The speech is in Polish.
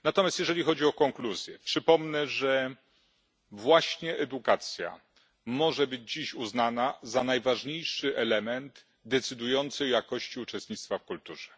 Natomiast jeżeli chodzi o konkluzje, przypomnę, że to właśnie edukacja może być dziś uznana za najważniejszy element decydujący o jakości uczestnictwa w kulturze.